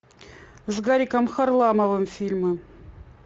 с гариком харламовым фильмы